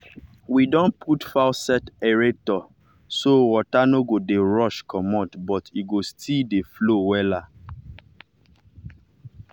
we don put faucet aerator so water no go dey rush comot but e go still dey flow wella.